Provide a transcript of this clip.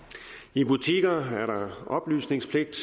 i butikker er der oplysningspligt